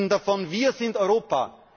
Sie sprechen davon Wir sind Europa!